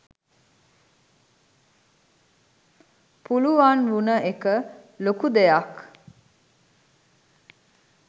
පුලුවන් වුන එක ලොකු දෙයක්